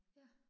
Ja